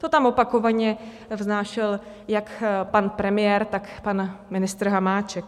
To tam opakovaně vznášel jak pan premiér, tak pan ministr Hamáček.